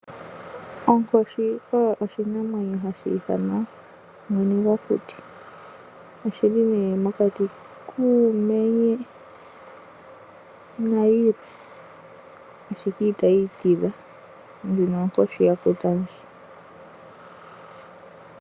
Onkoshi oyo oshinamwenyo, hashi ithanwa mwene gwokuti, oshili ne mokati kuumenye, nayilwe, ndino onkoshi ya kuta ndji.